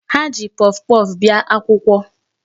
Ha ji puffpuff bịa akwụkwọ.